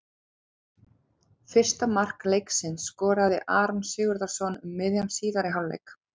Fyrsta mark leiksins skoraði Aron Sigurðarson um miðjan síðari hálfleik.